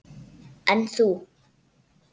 En þú.